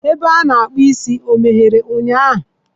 Ebe a na-akpụ isi emeghere ụnyahụ?